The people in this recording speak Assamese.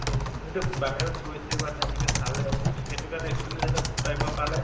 যিহেতু বাহিৰত গৈছে বা তেনেকা চালে ত সেইটো কাৰণে experience এটা পালে